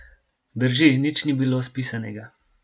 Drži, nič ni bilo spisanega.